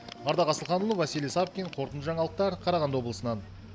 ардақ асылханұлы василий савкин қорытынды жаңалықтар қарағанды облысынан